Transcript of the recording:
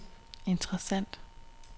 interessant